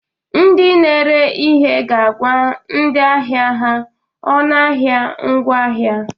Ndị n'ere ihe ga-agwa ndị ahịa ha ọnụahịa ngwaahịa.